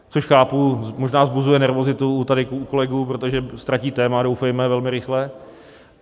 Což, chápu, možná vzbuzuje nervozitu tady u kolegů, protože ztratí téma, doufejme velmi rychle.